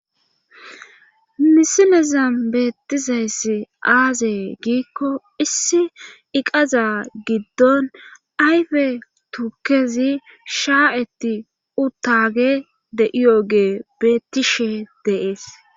Misilezam beettizayssi aaze giikko issi iqaza giddon ayfe tukkezi shaa'etti uttage de'iyooge beettishe deees.